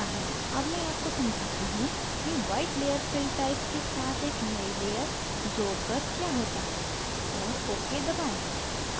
अब मैं आपको समझाती हूँ कि white layer fill type के साथ एक नयी layer जोड़ कर क्या होता है और ok दबाएं